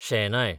शेनाय